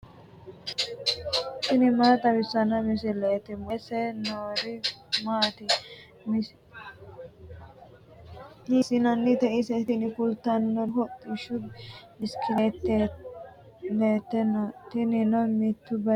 tini maa xawissanno misileeti ? mulese noori maati ? hiissinannite ise ? tini kultannori hodhishshu bisikilliite no. tinino mittu baychinni woleha harate kaa'litanno.